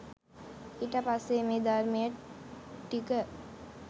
ඊට පස්සේ මේ ධර්මය ටික